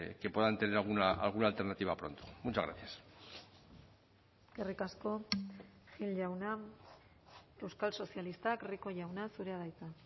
que puedan tener alguna alternativa pronto muchas gracias eskerrik asko gil jauna euskal sozialistak rico jauna zurea da hitza